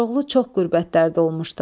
Koroğlu çox qürbətlərdə olmuşdu.